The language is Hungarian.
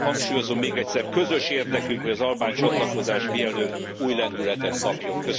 Hangsúlyozom még egyszer közös érdekünk, hogy az albán csatlakozás mielőbb új lendületet kapjon.